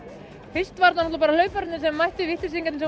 fyrst voru þetta náttúrulega bara hlaupararnir sem mættu vitleysingarnir